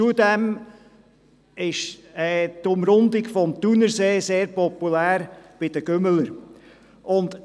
Zudem ist die Umrundung des Thunersees bei den Radrennfahrern sehr populär.